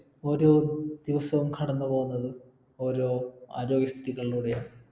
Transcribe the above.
ഒരോ ദിവസവും കടന്നുപോകുന്നത് ഓരോ ആരോഗ്യ സ്ഥിതിയിലൂടെയാണ്